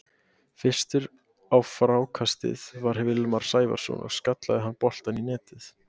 Fyrstur á frákastið var Vilmar Sævarson og skallaði hann boltann í netið.